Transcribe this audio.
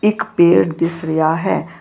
ਇੱਕ ਪੇਡ ਦਿਸ ਰਿਹਾ ਹੈ।